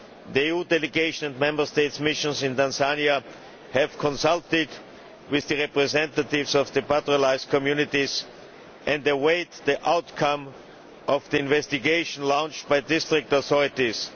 The EU delegation and Member Statesʼ missions in Tanzania have consulted with the representatives of the pastoralist communities and they await the outcome of the investigation launched by district authorities.